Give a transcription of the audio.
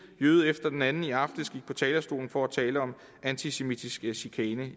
jøde efter den anden i aftes gik på talerstolen for at tale om antisemitisk chikane